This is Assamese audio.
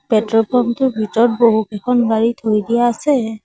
পেট্ৰ'ল পাম্প টোৰ ভিতৰত বহুকেইখন গাড়ী থৈ দিয়া আছে।